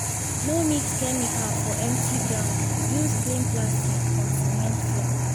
no mix chemical for empty ground. use clean plastic or cement floor.